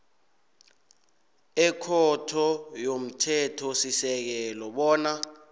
ekhotho yomthethosisekelo bona